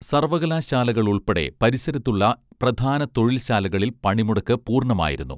സർവ്വകലാശാലകളുൾപ്പെടെ പരിസരത്തുള്ള പ്രധാന തൊഴിൽശാലകളിൽ പണിമുടക്ക് പൂർണ്ണമായിരുന്നു